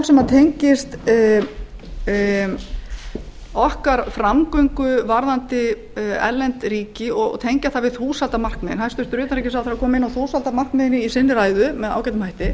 sem tengist framgöngu okkar við erlend ríki og tengja það þúsaldarmarkmiðunum hæstvirts utanríkisráðherra kom inn á þúsaldarmarkmiðin í ræðu sinni með ágætum hætti